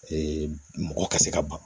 mɔgɔ ka se ka ban